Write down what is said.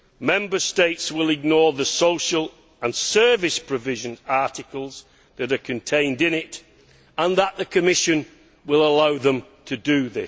Member States will ignore the social and service provision articles that are contained in the directive and that the Commission will allow them to do so.